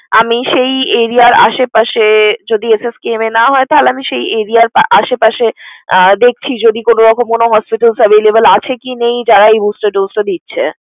আমি সেই area এর আশে পাশে যদি SSKM এ না হয়, তাহলে আমি সেই area র আশে পাশে আহ দেখছি। ওইদিক কোনো রকম কোনো hospital available আছে কি নেই যারা এই booster dose টা দিচ্ছে।